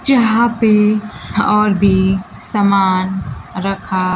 जहां पे और भी समान रखा--